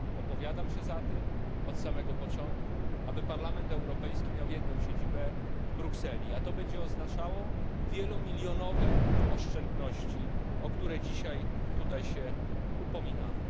Opowiadam się od samego początku za tym, by Parlament Europejski miał jedną siedzibę w Brukseli. Będzie to oznaczało wieluset milionowe oszczędności, o które dzisiaj tutaj się upominamy.